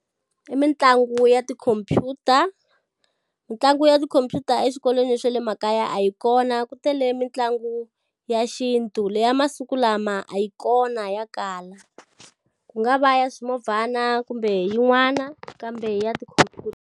I mitlangu ya tikhomphyuta. Mintlangu ya tikhomphyuta eswikolweni swa le makaya a yi kona ku tele mitlangu ya xintu leyi ya masiku lama a yi kona ya kala. Ku nga va ya swimovhana kumbe yin'wana kambe ya tikhomphyuta.